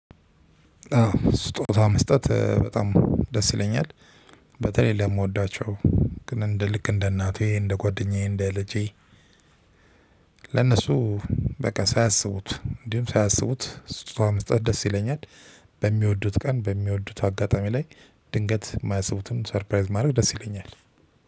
ስጦታ መስጠት በጣም ደስ ይለኛል። በተለይ ለምወዳቸው ግን እንደ ልክ እንደ እናቴ እንደ ጓደኛዬ እንደ ልጄ ለነሱ በቃ ሳያስቡት እንዲሁም ሳያስቡት ስጦታ መስጠት ደስ ይለኛል። በሚወዱት ቀ፣ በሚወዱት አጋጣሚ ላይ ድንገት የማያስቡትን ሰርፕራይዝ ማድረግ ደስ ይለኛል